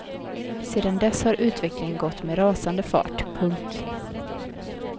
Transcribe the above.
Sedan dess har utvecklingen gått med en rasande fart. punkt